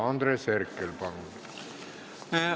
Andres Herkel, palun!